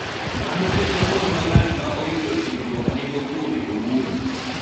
Mano ketho luor ma ng�at ma oyudo hinyruok nigo kuome owuon.